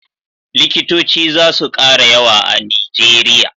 likitoci zasu kara yawa a nigeria